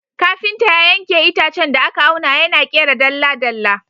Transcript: Kafinta ya yanke itacen da aka auna, yana ƙera dalla-dalla.